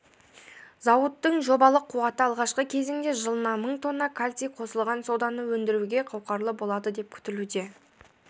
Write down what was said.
зауыттың жобалық қуаты алғашқы кезеңде жылына мың тонна калций қосылған соданы өндіруге қауқарлы болады деп күтілуде